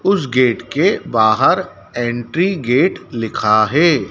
उस गेट के बाहर एंट्री गेट लिखा हैं।